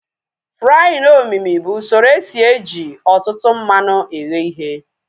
Fraaịn omimi bụ usoro esi eji ọtụtụ mmanụ eghe ihe